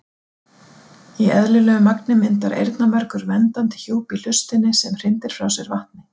Í eðlilegu magni myndar eyrnamergur verndandi hjúp í hlustinni sem hrindir frá sér vatni.